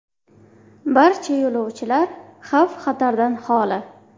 Barcha yo‘lovchilar xavf-xatardan xoli.